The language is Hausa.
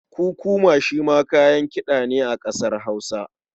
Kukuma shi ma kayan kiɗa ne a ƙasar Hausa.